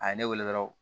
A ye ne wele dɔrɔn